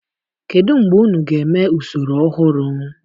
Kedu mgbe unu ga-eme usoro ọhụrụ?